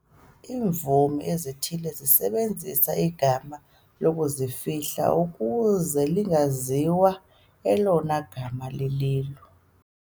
Iimvumi ezithile zisebenzisa igama lokuzifihla ukuze lingaziwa elona gama lililo.